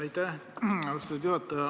Aitäh, austatud juhataja!